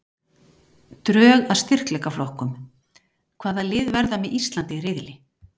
Drög að styrkleikaflokkum- Hvaða lið verða með Íslandi í riðli?